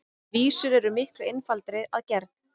Vísur eru miklu einfaldari að gerð.